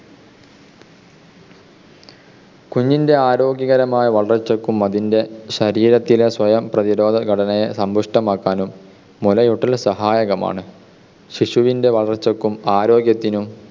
കുഞ്ഞിൻ്റെ ആരോഗ്യകരമായ വളർച്ചയ്ക്കും അതിൻ്റെ ശരീരത്തിലെ സ്വയം പ്രതിരോധ ഘടനയെ സമ്പുഷ്ടമാക്കാനും മുലയൂട്ടൽ സഹായകമാണ്. ശിശുവിൻ്റെ വളർച്ചയ്ക്കും ആരോഗ്യത്തിനും